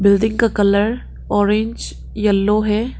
Building का colour orange yellow है।